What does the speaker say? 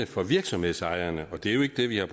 for virksomhedsejerne og det er jo ikke det vi har